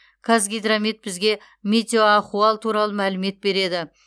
қазгидромет бізге метеоахуал туралы мәлімет береді